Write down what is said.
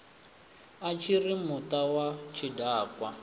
a tshiri muta wa tshidakwa